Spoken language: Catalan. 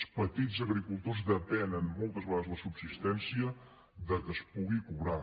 els petits agricultors depenen moltes vegades la subsistència del fet que es pugui cobrar